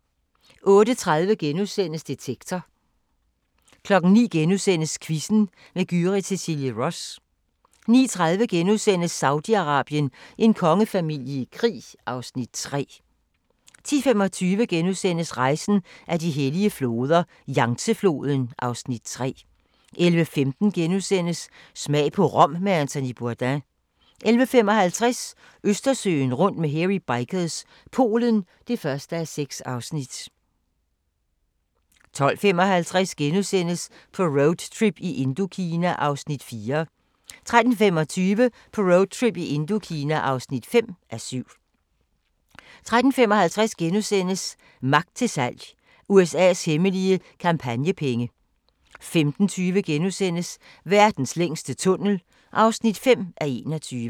08:30: Detektor * 09:00: Quizzen med Gyrith Cecilie Ross * 09:30: Saudi-Arabien: En kongefamilie i krig (Afs. 3)* 10:25: Rejsen ad de hellige floder - Yangtze-floden (Afs. 3)* 11:15: Smag på Rom med Anthony Bourdain * 11:55: Østersøen rundt med Hairy Bikers – Polen (1:6) 12:55: På roadtrip i Indokina (4:7)* 13:25: På roadtrip i Indokina (5:7) 13:55: Magt til salg - USA's hemmelige kampagnepenge * 15:20: Verdens længste tunnel (5:21)*